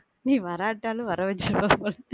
நீ வராட்டாலும் வர வச்சிர்வ போல